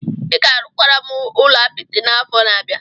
Ị ga-arụkwara m ụlọ apịtị n'afọ na-abịa.